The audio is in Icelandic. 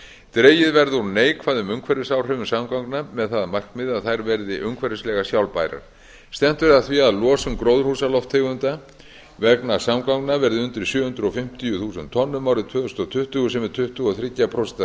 dregið verði úr neikvæðum umhverfisáhrifum samgangna með það að markmiði að þær verði umhverfislega sjálfbærar stefnt verði að því að losun gróðurhúsalofttegunda vegna samgangna verði undir sjö hundruð fimmtíu þúsund tonnum árið tvö þúsund tuttugu sem er tuttugu og þrjú prósent